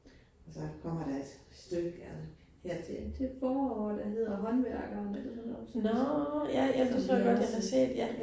Og så kommer der et stykke ja her til til foråret, der hedder Håndværkerne det det hedder som så som den anden side